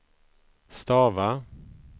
stava